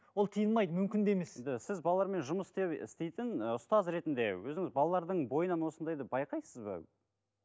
ол тыйылмайды мүмкін де емес енді сіз балармен жұмыс істеп істейтін і ұстаз ретінде өзіңіз балалардың бойынан осындайды байқайсыз ба